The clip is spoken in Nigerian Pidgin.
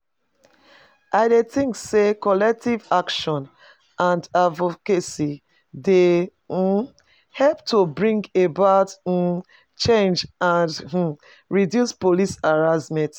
I dey think say collective action and advocacy dey um help to bring about um change and um reduce police harassment.